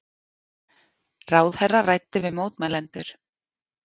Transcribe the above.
Ráðherra ræddi við mótmælendur